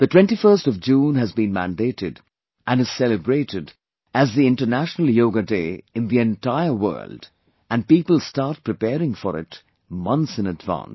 The 21stof June has been mandated and is celebrated as the International Yoga Day in the entire world and people start preparing for it months in advance